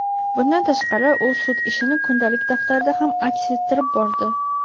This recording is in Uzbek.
Bundan tashqari u sud ishini kundalik daftarida ham aks ettirib bordi.